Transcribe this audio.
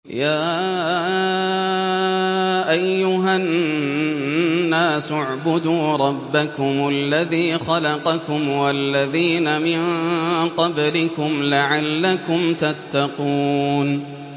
يَا أَيُّهَا النَّاسُ اعْبُدُوا رَبَّكُمُ الَّذِي خَلَقَكُمْ وَالَّذِينَ مِن قَبْلِكُمْ لَعَلَّكُمْ تَتَّقُونَ